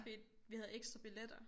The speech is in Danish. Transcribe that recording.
Fordi at vi havde ekstra billetter